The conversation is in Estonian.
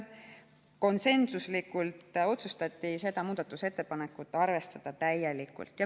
Konsensuslikult otsustati seda muudatusettepanekut arvestada täielikult.